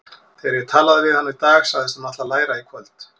Þegar ég talaði við hana í dag sagðist hún ætla að læra í kvöld.